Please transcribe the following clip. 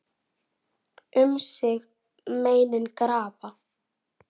Um sig meinin grafa.